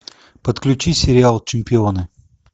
подключи сериал чемпионы